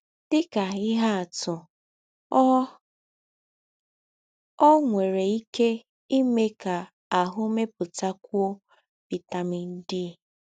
Dị ka ihe atụ, ọ, ọ nwere ike ime ka ahụ́ mepụtakwụọ vitamin D.